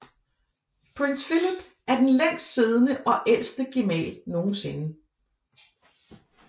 Prins Philip er den længst siddende og ældste gemal nogensinde